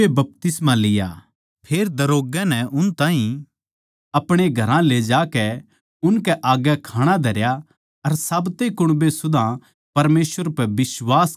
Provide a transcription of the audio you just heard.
फेर दरोग्गै नै उन ताहीं अपणे घरां ले जाकै उनकै आग्गै खाणा धरया अर साब्ते कुण्बे सुदा परमेसवर पै बिश्वास करकै आनन्द करया